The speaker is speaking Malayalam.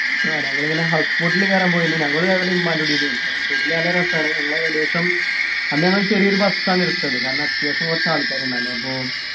ആഹ് ഞങ്ങളിങ്ങനെ house boat ൽ കേറാൻ പോയിന്നു ഞങ്ങളു ഞങ്ങളെ ഉമ്മാൻ്റെ house boat ൽ നല്ല രസാണ് ഞങ്ങൾ ഏകദേശം അന്ന് ഞങ്ങള്‍ ചെറിയൊരു bus ആണ് എടുത്തത് കാരണം അത്യാവശ്യം കുറച്ചാൾക്കാര്‌ണ്ടന്ന് അപ്പൊ